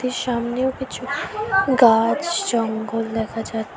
সামনেও কিছু গাছ জঙ্গল দেখা যাচ্ছে।